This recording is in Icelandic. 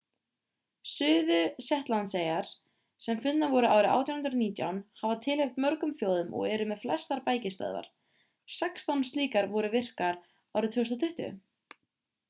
suðu-shetlandseyjar sem fundnar voru árið 1819 hafa tilheyrt mörgum þjóðum og eru með flestar bækistöðvar sextán slíkar voru virkar árið 2020